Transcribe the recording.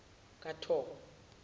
kathoko